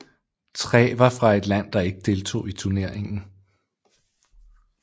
Tre var fra et land der ikke deltog i turneringen